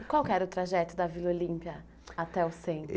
E qual que era o trajeto da Vila Olímpia até o centro?